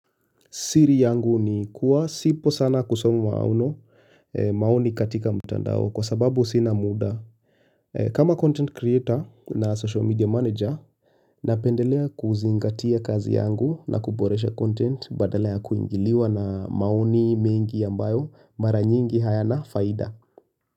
Siri yangu ni kuwa sipo sana kusoma maono maoni katika mtandao kwa sababu sina muda. Kama content creator na social media manager napendelea kuzingatia kazi yangu na kuboresha content badala ya kuingiliwa na maoni mengi ambayo mara nyingi hayana faida.